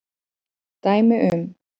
Dæmi um